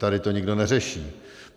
Tady to nikdo neřeší.